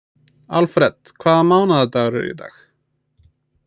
Alfred, hvaða mánaðardagur er í dag?